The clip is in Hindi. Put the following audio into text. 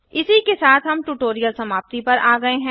इसी के साथ हम ट्यूटोरियल समाप्ति पर आ गए है